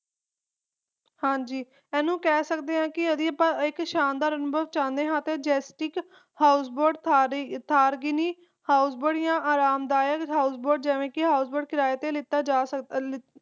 ਹਾਂਜੀ ਇਹਨੂੰ ਕਹਿ ਸਕਦੇ ਆ ਕਿ ਜੇ ਅਸੀਂ ਇਕ ਸ਼ਾਨਦਾਰ ਅਨੁਭਵ ਚਾਹੁੰਦੇ ਹਾਂ ਤਾ ਇਕ jessic houseboard ਆ comfortable houseboard ਜਿਵੇ ਕਿ ਕਿਰਾਏ ਤੇ ਲਿੱਤਾ ਜਾ ਸਕਦਾ ਹੈ